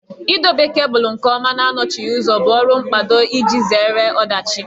Idobe kebụlụ nke ọma na anọchighị ụzọ bụ ọrụ mkpado iji zere ọdachi